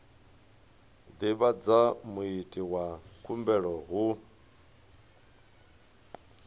divhadza muiti wa khumbelo hu